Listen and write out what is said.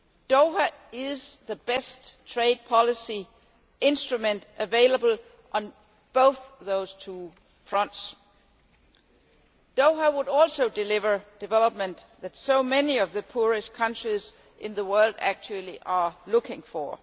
Doha is the best trade policy instrument available on both those fronts. Doha would also deliver the development that so many of the poorest countries in the world are looking for.